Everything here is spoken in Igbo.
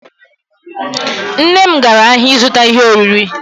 Nne m gara ahịa ịzụta ihe oriri.